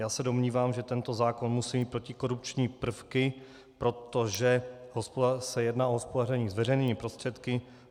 Já se domnívám, že tento zákon musí mít protikorupční prvky, protože se jedná o hospodaření s veřejnými prostředky.